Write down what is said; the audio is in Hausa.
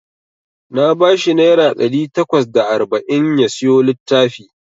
Na bashi naira ɗari takwas da arba'in ya siyo littafi.